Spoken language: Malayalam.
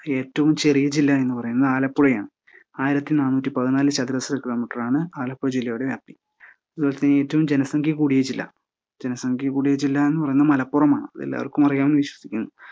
ഏറ്റവും ചെറിയ ജില്ലാ എന്നു പറയുന്നത് ആലപ്പുഴയാണ്. ആയിരത്തി നാനൂറ്റി പതിനാല് ചതുരശ്ര കിലോമീറ്ററാണ് ആലപ്പുഴ ജില്ലയുടെ വ്യാപ്തി ലോകത്തിലെ ഏറ്റവും ജനസംഖ്യ കൂടിയ ജില്ലാ എന്ന് പറയുന്നത് മലപ്പുറമാണ് എല്ലാവർക്കും അറിയാമെന്ന് വിശ്വസിക്കുന്നു.